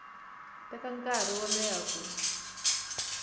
teka nkarhi wo leha ku